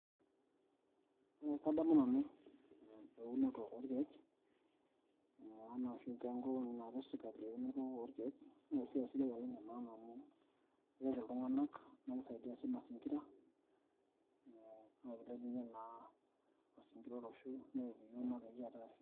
Ekadamu nanu eunoto orkeek, ee enoshi enkop naapik sirkali eunoto orkeek, na esiai sidai oleng' amu keret iltung'anak, na kisaidia si mazingira, naa kilepunye naa mazingira olosho, neeki yiok meeta ekiata afya.